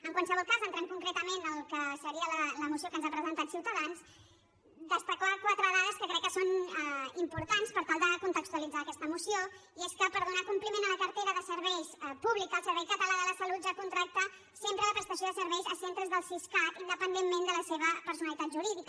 en qualsevol cas entrant concretament al que seria la moció que ens ha presentat ciutadans destacar quatre dades que crec que són importants per tal de contextualitzar aquesta moció i és que per donar compliment a la cartera de serveis públics el servei català de la salut ja contracta sempre la prestació de serveis a centres del siscat independentment de la seva personalitat jurídica